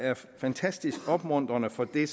er fantastisk opmuntrende for det